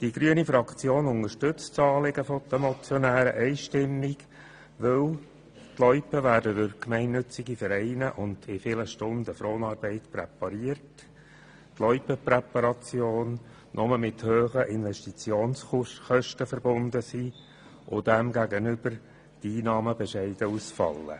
Die grüne Fraktion unterstützt das Anliegen der Motionäre einstimmig, weil die Loipen durch gemeinnützige Vereine und in vielen Stunden Fronarbeit präpariert werden und weil die Loipenpräparation nur mit hohen Investitionskosten verbunden ist, während die Einnahmen demgegenüber bescheiden ausfallen.